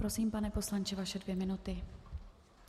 Prosím, pane poslanče, vaše dvě minuty.